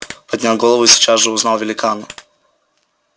поднял голову и сейчас же узнал великана